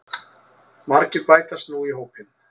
Margir bætast nú í hópinn